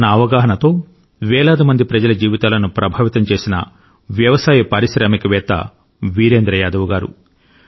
తన అవగాహనతో వేలాది మంది ప్రజల జీవితాలను ప్రభావితం చేసిన వ్యవసాయ పారిశ్రామికవేత్త వీరేంద్ర యాదవ్ గారు